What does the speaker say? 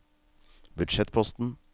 budsjettposten